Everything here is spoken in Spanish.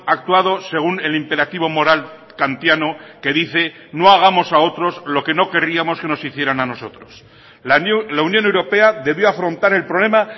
actuado según el imperativo moral kantiano que dice no hagamos a otros lo que no querríamos que nos hicieran a nosotros la unión europea debió afrontar el problema